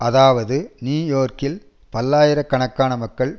அதாவது நியூ யோர்க்கில் பல்லாயிரக் கணக்கான மக்கள்